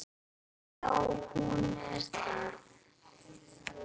Já, hún er það.